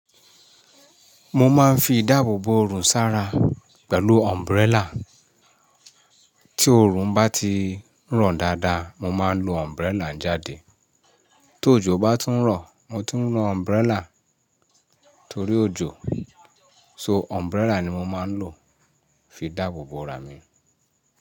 Mo máa ń fi idáàbòbò orùn sára pẹ̀lú umbrella. Tí orùn bá ti i ran dáadáa, mo máa ń lo umbrella jáde. Tó ojò bá tún ń rọ̀, mo tún ń lo umbrella torí òjò. So, umbrella ni mo máa ń lò fi dáàbòbò rà mí.